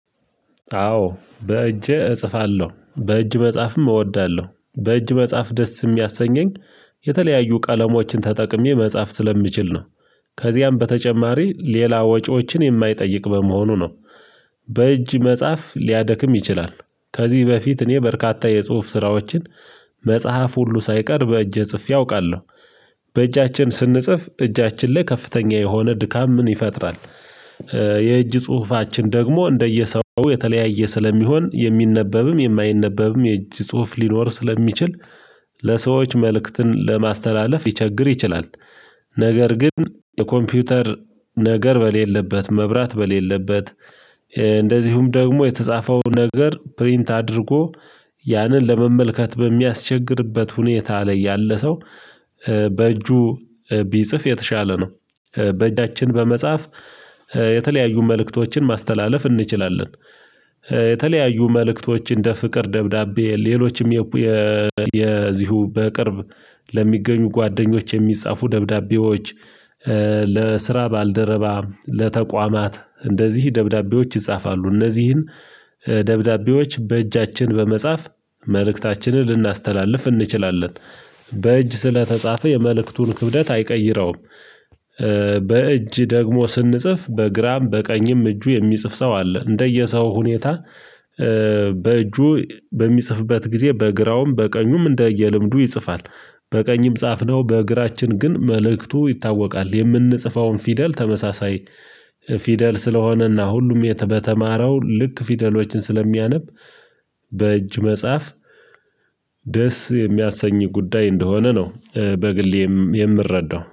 አዎ በእጄ እጽፋለሁ በእጅ መጽሐፍም እወዳለሁ በእጅ መጽሐፍ ደስ የሚያሰኘኝ የተለያዩ ቀለሞችን ተጠቅሜ መጻፍ ስለሚችል ነው ከዚያም በተጨማሪ ሌላ ወጪዎችን የማይጠይቅ በመሆኑ ነው በእጅ መጽሐፍ ሊያደክም ይችላል ከዚህ በፊት እኔ በርካታ የጽሁፍ ስራዎችን መጽሐፍ ሁሉ ሳይቀር በእጄ ጽፌ አውቃለሁ በእጃችን ስንጽፍ እጃችን ላይ ከፍተኛ የሆነ ድካምን ይፈጥራል የእጅ ጽሁፋችን ደግሞ እንደየሰው የተለያየ ስለሚሆን የሚነበብም የማይነበብም የእጅ ጽሁፍ ሊኖር ስለሚችል ለሰዎች መልእክትን ለማስተላለፍ ይቸግር ይችላል ነገር ግን የኮምፒውተር ነገር በሌለበት መብራት በሌለበት እንደዚሁም ደግሞ የተጻፈው ነገር ፕሪንት አድርጎ ያንን ለመመልከት በሚያስቸግርበት ሁኔታ ላይ ያለ ሰው በእጁ ቢጽፍ የተሻለ ነው በእጃችን በመጻፍ የተለያዩ መልእክቶችን ማስተላለፍ እንችላለን የተለያዩ መልእክቶች እንደ ፍቅር ደብዳቤ ሌሎችም የ የዚሁ በቅርብ ለሚገኙ ጓደኞች የሚጻፉ ደብዳቤዎች ለስራ ባልደረባ ለተቋማት እንደዚህ ደብዳቤዎች ይጻፋሉ እነዚህን ደብዳቤዎች በእጃችን በመጻፍ መልእክታችንን ልናስተላልፍ እንችላለን በእጅ ስለተጻፈ የመልእክቱን ክብደት አይቀይረውም በእጅ ደግሞ ስንጽፍ በግራም በቀኝም እጁ የሚጽፍ ሰው አለ እንደየሰው ሁኔታ በእጁ በሚጽፍበት ጊዜ በግራውም በቀኙም እንደየልምዱ ይጽፋል በቀኝም ጻፍነው በግራችን ግን መልእክቱ ይታወቃል የምንጽፈውን ፊደል ተመሳሳይ ፊደል ስለሆነና ሁሉም በተማረው ልክ ፊደሎችን ስለሚያነብ በእጅ መጽሐፍ ደስ የሚያሰኝ ጉዳይ እንደሆነ ነው በግሌ የምረዳው።